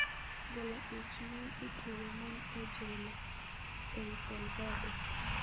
Golo ich miyo itweyo mon e jelo El Salvador.